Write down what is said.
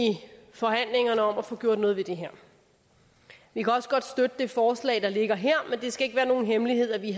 forhandlingerne om at få gjort noget ved det her vi kan også godt støtte det forslag der ligger her men det skal ikke være nogen hemmelighed at vi